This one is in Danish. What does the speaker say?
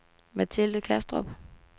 Mathilde Kastrup